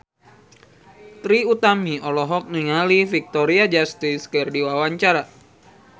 Trie Utami olohok ningali Victoria Justice keur diwawancara